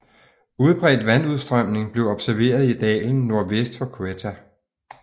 Udbredt vandudstrømning blev observeret i dalen nordvest for Quetta